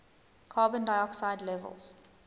carbon dioxide levels